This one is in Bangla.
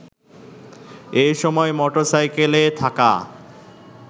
এসময় মোটরসাইকেলে থাকা